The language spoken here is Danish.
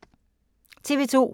TV 2